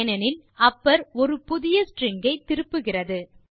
ஏனென்றால் அப்பர் ஒரு புதிய ஸ்ட்ரிங் ஐ திருப்புகிறது